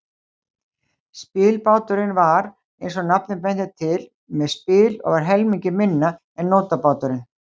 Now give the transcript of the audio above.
Spilbáturinn var, eins og nafnið bendir til, með spil og var helmingi minni en nótabáturinn.